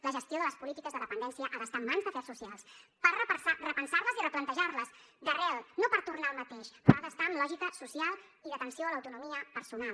la gestió de les polítiques de dependència ha d’estar en mans d’afers socials per repensar les i replantejar les d’arrel no per tornar al mateix però ha d’estar amb lògica social i d’atenció a l’autonomia personal